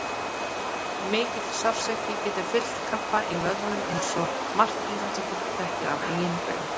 Mikill sársauki getur fylgt krampa í vöðvum eins og margt íþróttafólk þekkir af eigin raun.